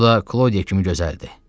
O da Klodiya kimi gözəldi.